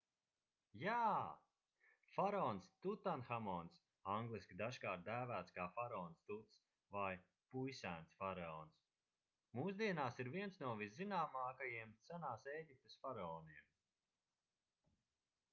jā! faraons tutanhamons angliski dažkārt dēvēts kā faraons tuts vai puisēns – faraons mūsdienās ir viens no viszināmākajiem senās ēģiptes faraoniem